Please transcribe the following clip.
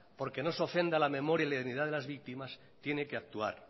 porque no se ofenda la memoria y la dignidad de las víctimas tiene que actuar